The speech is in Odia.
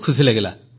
ରୋମ୍ବା ମଗିଲଚି